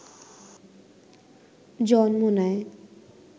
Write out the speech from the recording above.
জন্ম নেয়